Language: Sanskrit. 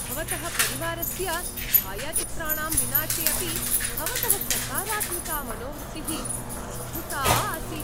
भवतः परिवारस्य च्छायाचित्राणां विनाशे अपि भवतः सकारात्मिका मनोवृत्तिः अद्भुता आसीत्।